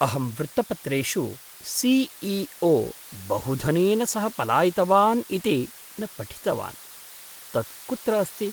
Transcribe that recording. अहं वृत्तपत्रेषु C E O बहुधनेन सह पलायितवान् इति न पठितवान्। तत् कुत्र अस्ति?